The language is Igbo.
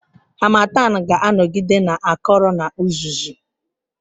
Harmattan ga-anọgide na-akọrọ na uzuzu.